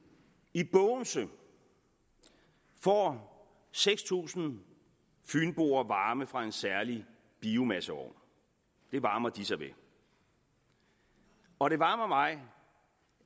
i bogense får seks tusind fynboer varme fra en særlig biomasseovn det varmer de sig ved og det varmer mig